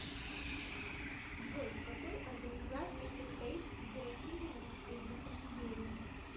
джой в какой организации состоит федеративная республика нигерия